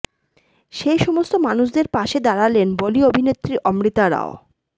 সেই সমস্ত মানুষদের পাশে দাঁড়ালেন বলি অভিনেত্রী অমৃতা রাও